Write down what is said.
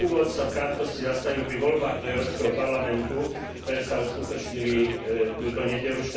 Na úvod sa v krátkosti zastavím pri voľbách do Európskeho parlamentu, ktoré sa uskutočnili túto nedeľu,